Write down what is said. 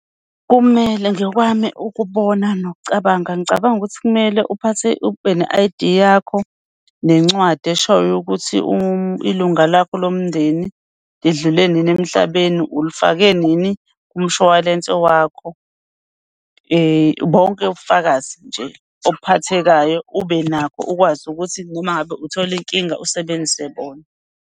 Kumele ngokwami ukubona nokucabanga, ngicabanga ukuthi kumele uphathe, ube ne-I_D yakho nencwadi eshoyo ukuthi ilunga lakho lomndeni lidlule nini emhlabeni, ulufake nini kumshwalense wakho. Bonke ubufakazi nje obuphathekayo ube nakho, ukwazi ukuthi noma ngabe uthole inkinga usebenzise bona.